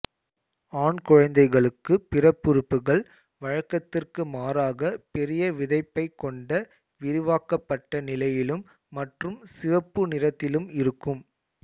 ஆண் குழந்தைகளுக்கு பிறப்புறுப்புகள் வழக்கத்திற்கு மாறாக பெரிய விதைப்பை கொண்ட விரிவாக்கப்பட்ட நிலையிலும் மற்றும் சிவப்பு நிறத்திலும் இருக்கும்